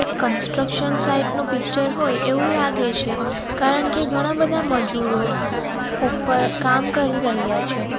Construction site નુ picture હોય એવું લાગે છે કારણ કે ઘણા બધા મજૂરો ઉપર કામ કરી રહ્યા છે.